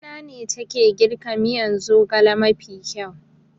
Mamana ne take girka miyan zogale mafi kyau